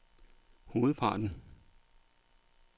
hovedparten